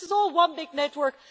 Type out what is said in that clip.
So this is all one big network.